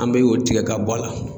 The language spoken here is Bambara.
An bɛ o tigɛ ka bɔ a la.